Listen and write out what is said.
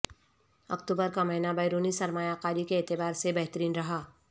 اکتوبر کا مہینہ بیرونی سرمایہ کاری کے اعتبار سے بہترین رہا